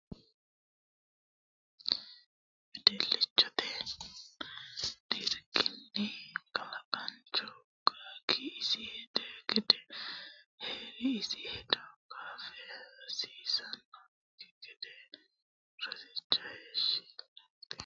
Wedelichimate dirini kalaqaancho qaaga isi hedo gede heera isi hedo qaafa hasiisanonke gede rosicho heeshshonsanni uyittanonke ilama lowoti noonke togoo ilama Maganu batisonke.